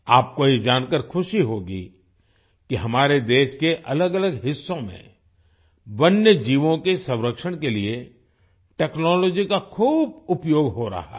आपको ये जानकर खुशी होगी कि हमारे देश के अलगअलग हिस्सों में वन्यजीवों के संरक्षण के लिए टेक्नोलॉजी का खूब उपयोग हो रहा है